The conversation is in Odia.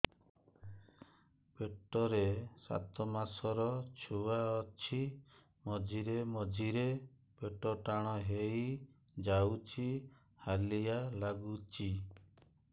ପେଟ ରେ ସାତମାସର ଛୁଆ ଅଛି ମଝିରେ ମଝିରେ ପେଟ ଟାଣ ହେଇଯାଉଚି ହାଲିଆ ଲାଗୁଚି